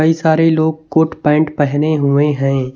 कई सारे लोग कोट पैंट पहने हुए हैं।